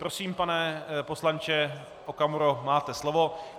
Prosím, pane poslanče Okamuro, máte slovo.